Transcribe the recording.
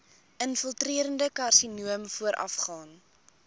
infiltrerende karsinoom voorafgaan